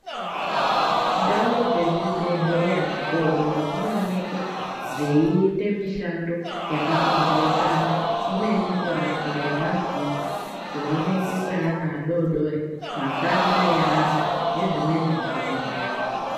Ndau dzezvibhedhleya zvidodori zvinoonekwa zvaiita mishando yakapambaukana, imweni kurapiwa kwemazino ,kuonekwa kweana adodori ,makanda eantu nezvimweni zvakapambaukana .